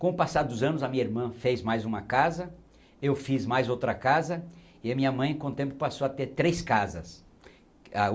Com o passar dos anos a minha irmã fez mais uma casa, eu fiz mais outra casa e a minha mãe com o tempo passou a ter três casas. A